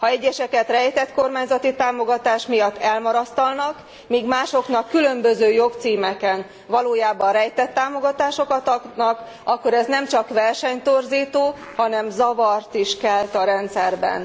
Ha egyeseket rejtett kormányzati támogatás miatt elmarasztalnak, míg másoknak különböző jogcímeken valójában rejtett támogatásokat adnak, akkor ez nemcsak versenytorzító, hanem zavart is kelt a rendszerben.